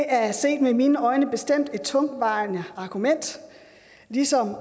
er set med mine øjne bestemt et tungtvejende argument ligesom